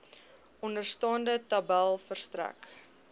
onderstaande tabel verstrek